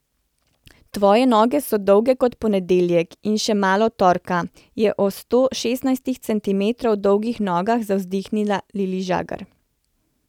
Tvoje noge so dolge kot ponedeljek in še malo torka, je o sto šestnajst centimetrov dolgih nogah zavzdihnila Lili Žagar.